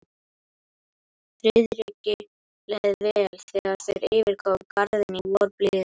Friðriki leið vel, þegar þeir yfirgáfu Garðinn í vorblíðunni.